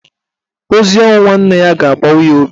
Ozi ọnwụ nwanne ya ga-agbawa ya obi.